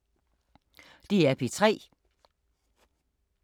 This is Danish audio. DR P3